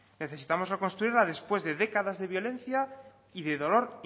necesitamos reconstruirla después de décadas de violencia y de dolor